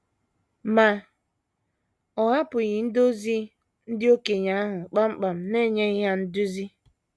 Ma, ọ hapụghị ndị ozi na ndị okenye ahụ kpam kpam n’enyeghị ha nduzi.